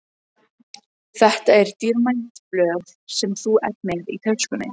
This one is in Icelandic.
Þetta eru dýrmæt blöð sem þú ert með í töskunni.